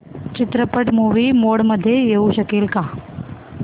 चित्रपट movie mode मध्ये येऊ शकेल का